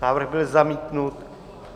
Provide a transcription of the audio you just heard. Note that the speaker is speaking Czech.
Návrh byl zamítnut.